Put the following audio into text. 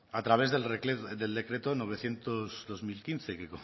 a través del decreto novecientos barra dos mil quince que